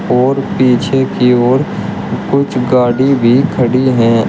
और पीछे की ओर कुछ गाड़ी भी खड़ी हैं।